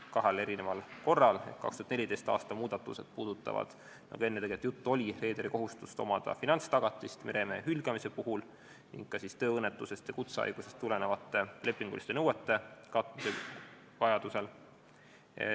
2014. aasta muudatused puudutavad, nagu enne juttu oli, reederi kohustust omada finantstagatist meremehe hülgamise puhuks ning ka tööõnnetusest ja kutsehaigusest tulenevate lepinguliste nõuete katmise jaoks.